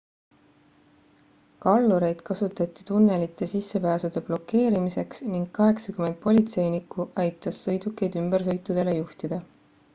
kallureid kasutati tunnelite sissepääsude blokeerimiseks ning 80 politseinikku aitas sõidukeid ümbersõitudele juhtida